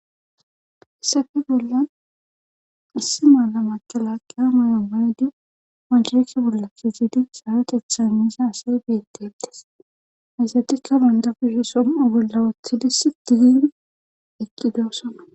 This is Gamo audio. hssafe bolla assi maala makalaqqea mayo baydi majheeke bolla kizidi sawatetha miisa asay beetettes hayzatika bandafusison agollawaothidis diin eqqidoossona